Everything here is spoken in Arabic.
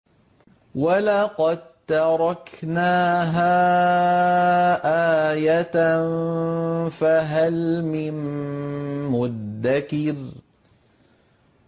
وَلَقَد تَّرَكْنَاهَا آيَةً فَهَلْ مِن مُّدَّكِرٍ